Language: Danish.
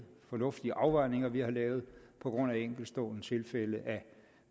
fornuftige afvejninger vi har lavet på grund af enkeltstående tilfælde af